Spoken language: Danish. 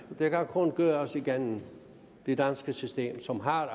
det kan kun gøres igennem det danske system som har